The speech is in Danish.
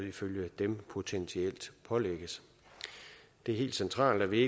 ifølge dem potentielt pålægges det er helt centralt at vi